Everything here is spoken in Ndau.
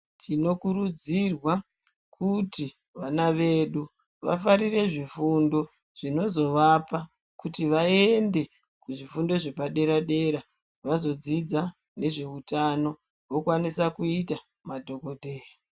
Tinokurudzirwa kuti vana vedu vafarire zvifundo zvinozovapa kuti vaende kuzvifundo zvepadera dera vazodzidza nezveutano vokwanisa kuita madhokodheya.